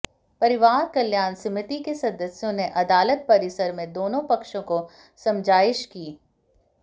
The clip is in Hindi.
परिवार कल्याण समिति के सदस्यों ने अदालत परिसर में दोनों पक्षों को समझाइश की